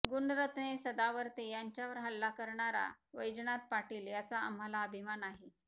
गुणरत्ने सदावर्ते यांच्यावर हल्ला करणारा वैजनाथ पाटील याचा आम्हाला अभिमान आहे